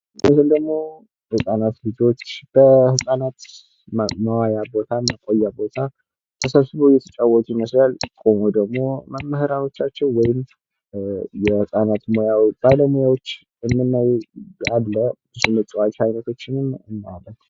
ይህ ምስል ደግሞ ህፃናት ልጆች በህፃናት መዋያ በ ህፃናት መቆያ ቦታ ተሰብስበው እየተጫወቱ ይመስላል ። ቆሞ ደግሞ መምህራኖቻቸው ወይም የህጻናት ማቆያው ባለሙያዎች የምናይ አለ ።የመጫወቻ አይነቶችንም እናያለን ።